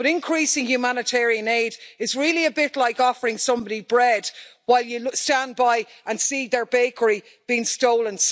But increasing humanitarian aid is really a bit like offering somebody bread while you stand by and see their bakery being stolen.